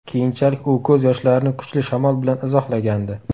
Keyinchalik u ko‘z yoshlarini kuchli shamol bilan izohlagandi.